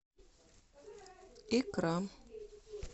икра